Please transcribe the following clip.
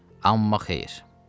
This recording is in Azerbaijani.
Amma xeyr.